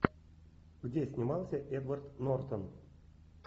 где снимался эдвард нортон